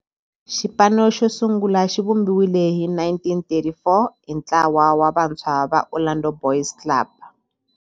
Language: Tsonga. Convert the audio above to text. Xipano xosungula xivumbiwile hi 1934 hi ntlawa wa vantshwa va Orlando Boys Club.